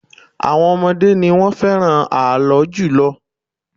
Àwọn ọmọdé ni wọ́n fẹ́ràn ààlọ́ jùlọ